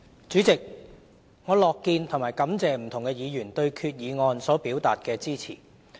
主席，我樂見和感謝不同的議員對決議案所表達的支持。